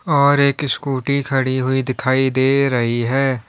और एक स्कूटी खड़ी हुई दिखाई दे रही है।